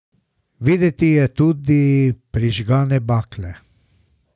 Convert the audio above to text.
Videti je tudi prižgane bakle.